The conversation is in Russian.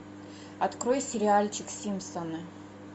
открой сериальчик симпсоны